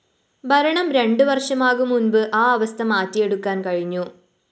ഭരണം രണ്ടു വര്‍ഷമാകും മുന്‍പ് ആ അവസ്ഥ മാറ്റിയെടുക്കാന്‍ കഴിഞ്ഞു